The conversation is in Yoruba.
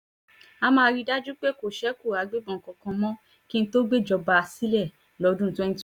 a máa rí i dájú pé kò ṣeku agbébọ̀n kankan mọ́ kí n tóó gbéjọba sílẹ̀ lọ́dún